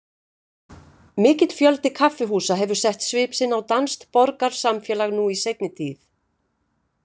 Mikill fjöldi kaffihúsa hefur sett svip sinn á danskt borgarsamfélag nú í seinni tíð.